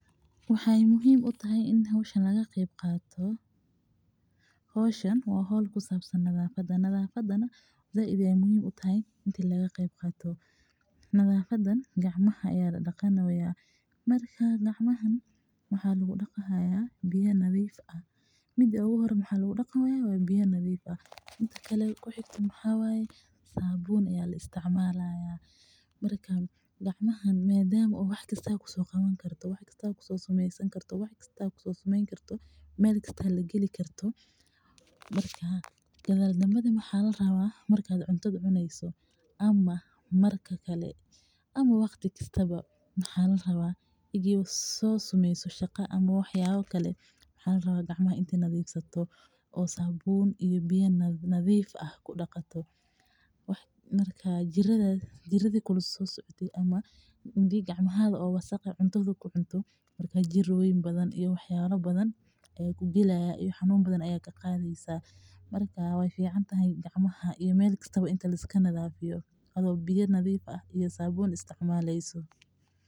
Waxaay muhiim utahay in laga qeyb qaato waxaan ku sabsan tahay nadafada waxa ladaqi haaya gacmaha waxaa lagu daqi haaya biya nadiif ah iyo sabun madama aad wax kasta kusoo sameen karto waxaa larabaa inaad gacmaha nadiifiso xanuun badan ayaa laga qadaa waay fican tahay gacmaha in liska nadiifiya adhigo biya iyo sabunn isticmaleysa.